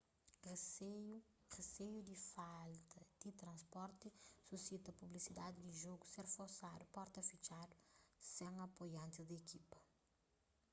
riseiu di falta di transporti susita pusibilidadi di jogu ser forsadu porta fitxadu sen apoiantis di ekipa